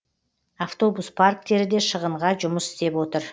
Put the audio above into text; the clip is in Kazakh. автобус парктері де шығынға жұмыс істеп отыр